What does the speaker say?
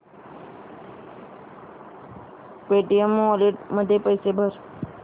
Paytm wallet मध्ये पैसे भर